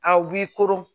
Aw b'i koron